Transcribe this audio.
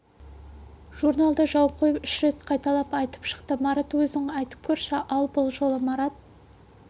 журналды жауып қойып үш рет қайталап айтып шықты марат өзің айтып көрші ал бұл жолы марат